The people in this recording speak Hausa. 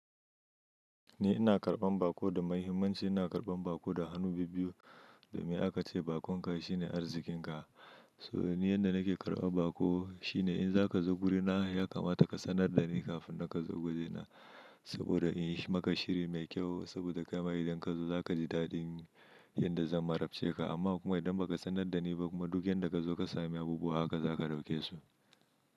Ni ina karɓan baƙo da mahimmanci, ina karɓan baƙo da hannu bi biyu. Domin aka ce bakonka shine arzikinka. To ni yadda nake karɓan baƙo shine in za ka zo wurina ya kamata ka sanar da ni kafin ka zo wurina saboda in yi maka shiri mai kyau saboda kai ma idan ka zo za ka ji daɗin inda zan marabce ka amma kuma idan ba ka sanar da ni ba kuma duk inda ka zo ka sami abubuwa haka za ka ɗauke su.